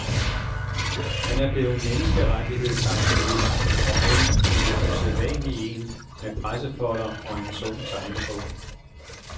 Han er blevet menneskerettighedsaktivist, om end en lidt usædvanlig en med pressefolder og en tung tegnebog.